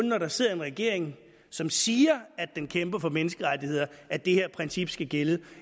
når der sidder en regering som siger at den kæmper for menneskerettigheder at det her princip skal gælde